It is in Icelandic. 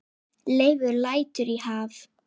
Leifur lætur í haf